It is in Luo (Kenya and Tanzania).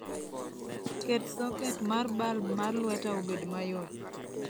Ket soket mar balb mar lweta obed mayot